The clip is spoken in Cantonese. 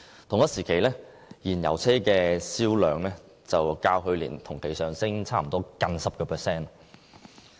同一時期，燃油車銷量較去年同期上升差不多 10%。